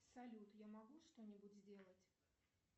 салют я могу что нибудь сделать